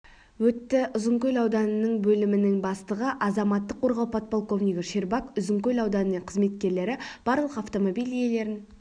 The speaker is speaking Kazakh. өтті ұзынкөл ауданының бөлімінің бастығы азаматтық қорғау подполковнигі щербак ұзынкөл ауданының қызметкерлері барлық автомобиль иелерін